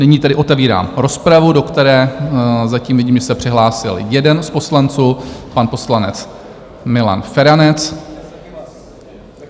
Nyní tedy otevírám rozpravu, do které zatím vidím, že se přihlásil jeden z poslanců, pan poslanec Milan Feranec.